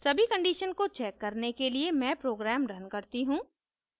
सभी conditions को check करने के लिए मैं program रन करती हूँ